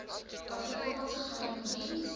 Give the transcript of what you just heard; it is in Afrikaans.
afrikaanse geheime diens